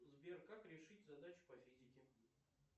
сбер как решить задачу по физике